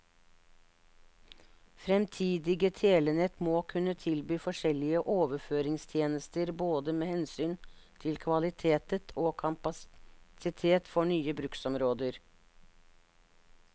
Fremtidige telenett må kunne tilby forskjellige overføringstjenester både med hensyn til kvalitet og kapasitet for nye bruksområder.